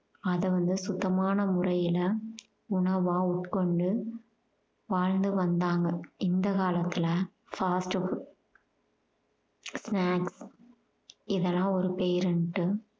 அத வந்து சுத்தமான முறையில உணவா உட்கொண்டு வாழ்ந்து வந்தாங்க இந்த காலத்துல fast food snacks இதெல்லாம் ஒரு பேருன்னுட்டு